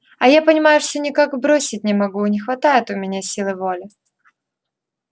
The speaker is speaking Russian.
а я понимаешь все никак бросить не могу не хватает у меня силы воли